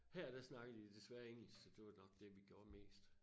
Her der snakkede de desværre engelsk så det var nok det vi gjorde mest